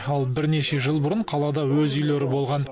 ал бірнеше жыл бұрын қалада өз үйлері болған